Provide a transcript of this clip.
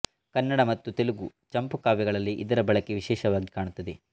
ಕನ್ನಡ ಮತ್ತು ತೆಲುಗು ಚಂಪುಕಾವ್ಯಗಳಲ್ಲಿ ಇದರ ಬಳಕೆ ವಿಶೇಷವಾಗಿ ಕಾಣುತ್ತದೆ